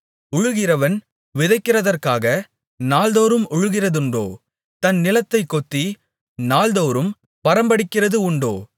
உழுகிறவன் விதைக்கிறதற்காக நாள்தோறும் உழுகிறதுண்டோ தன் நிலத்தைக் கொத்தி நாள்தோறும் பரம்படிக்கிறது உண்டோ